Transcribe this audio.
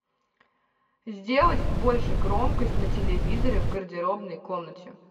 сделать больше громкость на телевизоре в гардеробной комнате